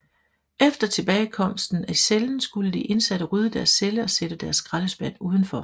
Efter tilbagekomsten til cellen skulle de indsatte rydde deres celle og sætte deres skraldespand udenfor